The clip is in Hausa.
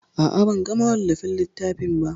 A'a, ban ga mawallafin littafin ba.